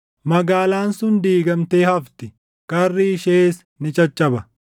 Magaalaan sun diigamtee hafti; karri ishees ni caccaba.